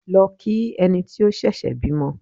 Lọ kí ẹni tí ó ṣẹ̀ṣẹ̀ bímọ!